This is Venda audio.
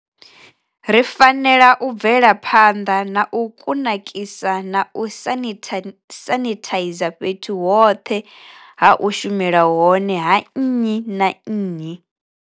Ri fanela u bvela phanḓa na u kunakisa na u sanithaiza fhethu hoṱhe ha u shumela hone ha nnyi na nnyi.